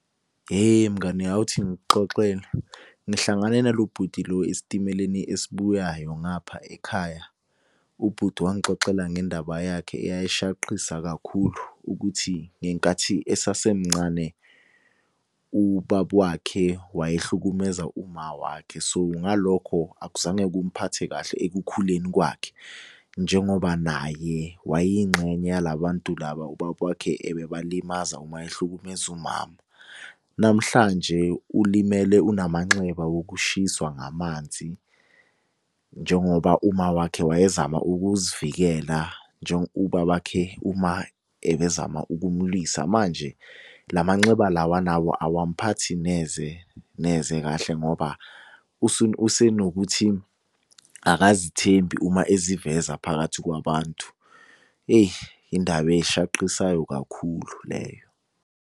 Hheyi mngani awuthi ngikuxoxele. Ngihlangane nalo bhuti lo esitimeleni esibuyayo ngapha ekhaya. Ubhuti wangixoxela ngendaba yakhe eyayishaqisa kakhulu, ukuthi ngenkathi esasemncane, ubaba wakhe wayehlukumeza uma wakhe so, ngalokho akuzange kumuphathe kahle ekukhuleni kwakhe. Njengoba naye wayeyingxenye yala bantu laba ubaba wakhe ebeba limaza uma ehlukumeza umama. Namhlanje ulimele unamanxeba wokushiswa ngamanzi. Njengoba uma wakhe wayezama ukuzivikela ubaba khe uma ebezama ukumulwisa. Manje lamanxeba lawa anawo awamuphathi neze neze kahle ngoba usenokuthi akazithembi uma eziveza phakathi kwabantu. Indaba eshaqisayo kakhulu leyo.